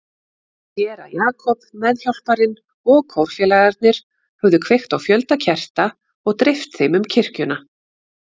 Séra Jakob, meðhjálparinn og kórfélagarnir höfðu kveikt á fjölda kerta og dreift þeim um kirkjuna.